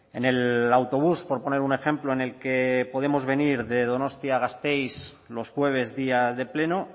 en el autobús por poner un ejemplo en el que podemos venir de donostia a gasteiz los jueves día de pleno